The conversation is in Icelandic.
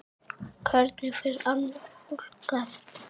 Hvernig fer annað fólk að?